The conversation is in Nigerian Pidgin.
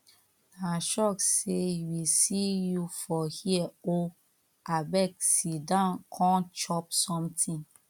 na shock say we see you for here o abeg sit down come chop something